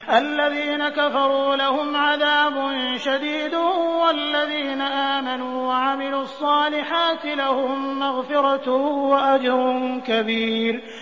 الَّذِينَ كَفَرُوا لَهُمْ عَذَابٌ شَدِيدٌ ۖ وَالَّذِينَ آمَنُوا وَعَمِلُوا الصَّالِحَاتِ لَهُم مَّغْفِرَةٌ وَأَجْرٌ كَبِيرٌ